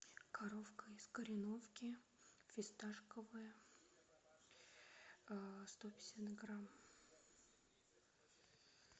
коровка из кореновки фисташковое сто пятьдесят грамм